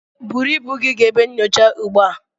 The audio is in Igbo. Buru ibu gị gaa ebe nyocha ugbu a.